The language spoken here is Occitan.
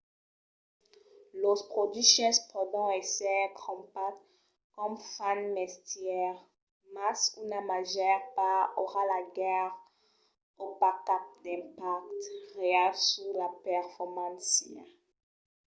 los produches pòdon èsser crompats com fan mestièr mas una màger part aurà pas gaire o pas cap d’impacte real sus la performància